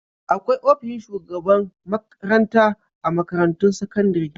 Akwai ofishin shugaban makranta a makarantun sakandare.